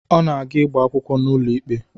Ọ na-aga ịgba akwụkwọ n'ụlọ ikpe